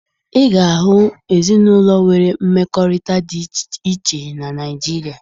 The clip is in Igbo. Ị ga-ahụ ezinụlọ nwere mmekọrịta dị iche na Naịjirịa